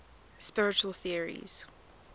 spiritual theories